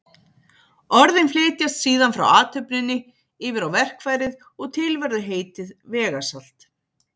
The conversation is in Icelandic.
Orðin flytjast síðan frá athöfninni yfir á verkfærið og til verður heitið vegasalt.